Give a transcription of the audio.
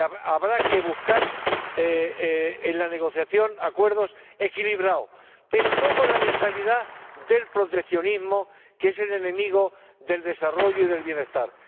Habrá que buscar, en la negociación, acuerdos equilibrados, pero no con la mentalidad del proteccionismo, que es el enemigo del desarrollo y del bienestar